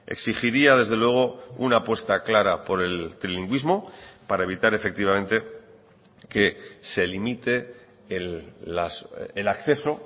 exigiría desde luego una apuesta clara por el trilingüismo para evitar efectivamente que se limite el acceso